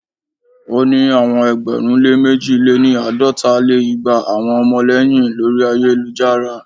o ni awọn ẹgbẹ̀rún lé mẹ̀ji lé-ní- àádọ́ta lé igba awọn ọmọlẹyin lori ayelujara.